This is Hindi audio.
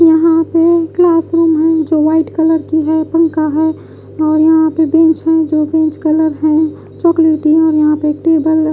यहाँ पे क्लासरूम है जो व्हाइट कलर की है पंखा है और यहाँ पे बेंच है जो बेंच कलर है चॉकलेट और यहाँ पे टेबल --